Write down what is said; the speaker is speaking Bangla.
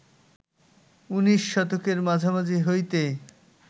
উনিশ শতকের মাঝামাঝি হইতে